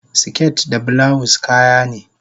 siket da bulawus kayane